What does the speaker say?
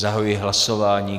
Zahajuji hlasování.